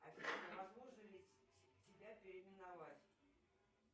афина возможно ли тебя переименовать